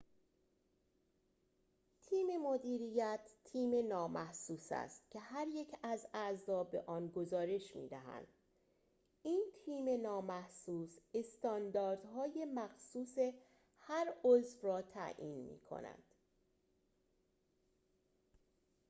تیم مدیریت تیم نامحسوس است که هر یک از اعضا به آن گزارش می‌دهند این تیم نامحسوس استانداردهای مخصوص هر عضو را تعیین می‌کند